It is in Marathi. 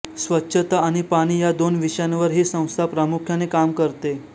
स्वच्छता आणि पाणी या दोन विषयांवर ही संस्था प्रामुख्याने काम करते